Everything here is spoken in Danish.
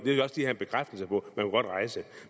bekræftelse på man kunne godt rejse